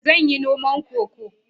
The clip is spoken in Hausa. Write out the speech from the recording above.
Zan yi noma Cocoa